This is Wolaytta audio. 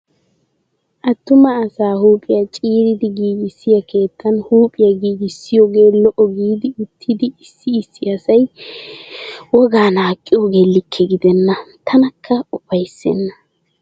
Attumaa asa huuphphiyaa ciiridi giigissiyaa keettan huuphphiya giigissiyooge lo'o gidi uttidi issi issi asayi wogaa naaqqiyooge likke gidenna. tanakka upayissennaa.